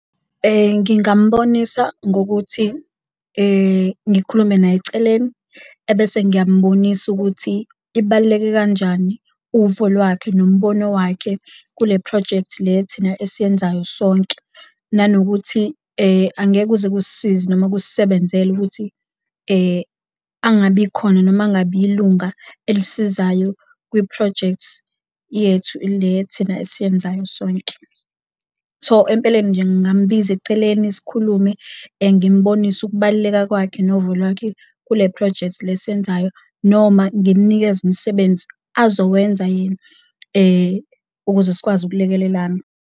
Ngingambonisa ngokuthi ngikhulume naye eceleni ebese ngiyambonisa ukuthi ibaluleke kanjani uvo lwakhe nombono owakhe kule phrojekthi le thina esiyenzayo sonke, nanokuthi angeke kuze kusisize noma kusisebenzele ukuthi angabi khona noma angabi ilunga elisizayo kwi-project yethu le thina esiyenzayo sonke. So, empeleni nje ngambiza eceleni sikhulume ngimubonise ukubaluleka kwakhe novo lwakhe kule phrojekthi le esiyenzayo, noma ngimnikeze umsebenzi azowenza yena ukuze sikwazi ukulekelelana.